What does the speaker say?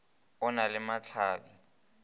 o na le mahla bi